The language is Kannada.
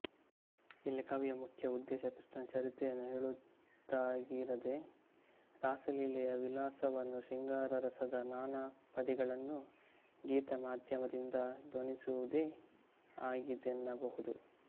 ಇಲ್ಲಿ ಕವಿಯ ಮುಖ್ಯ ಉದ್ದೇಶ ಕೃಷ್ಣನ ಚರಿತ್ರೆಯನ್ನು ಹೇಳುವುದಾಗಿರದೆ ರಾಸಲೀಲೆಯ ವಿಲಾಸವನ್ನೂ ಶೃಂಗಾರರಸದ ನಾನಾಪದಿಗಳನ್ನೂ ಗೀತಮಾಧ್ಯಮದಿಂದ ಧ್ವನಿಸುವುದೇ ಆಗಿದೆಯನ್ನಬಹುದು